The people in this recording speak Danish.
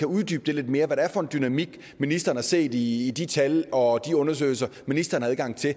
uddybe lidt mere hvad det er for en dynamik ministeren har set i i de tal og de undersøgelser ministeren har adgang til